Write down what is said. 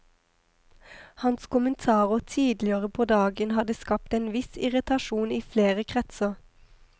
Hans kommentarer tidligere på dagen hadde skapt en viss irritasjon i flere kretser.